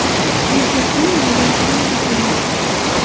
Erkakning yonidan qurol topilmadi.